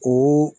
O